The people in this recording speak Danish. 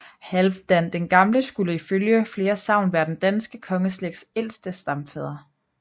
Halvdan den Gamle skulle ifølge flere sagn være den danske kongeslægts ældste stamfader